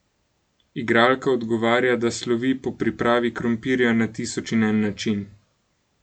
Igralka odgovarja, da slovi po pripravi krompirja na tisoč in en način.